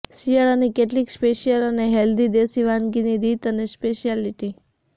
શિયાળાની કેટલીક સ્પેશિયલ અને હેલ્થી દેશી વાનગીની રીત અને સ્પેશ્યાલીટી